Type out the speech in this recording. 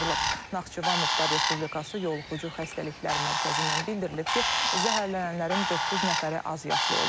Naxçıvan Muxtar Respublikası yoluxucu xəstəliklər mərkəzindən bildirilib ki, zəhərlənənlərin doqquz nəfəri azyaşlı olub.